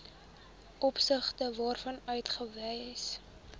opsigte waarvan uitgawes